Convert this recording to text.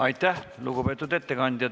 Aitäh, lugupeetud ettekandja!